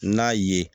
N'a ye